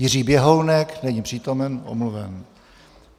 Jiří Běhounek: Není přítomen, omluven.